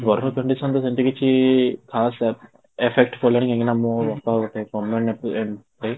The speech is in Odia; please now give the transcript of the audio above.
ପ୍ରଥମ condition ରୁ ସେମିତି କିଛି ଖାସ affect ପଡ଼ିଲାନି କାହିଁକି ନା ମୁଁ ମୋ ବାପା ଗୋଟେ government employee